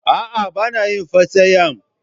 A'a, ba na yin fastayam.